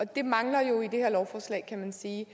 det mangler jo i det her lovforslag kan man sige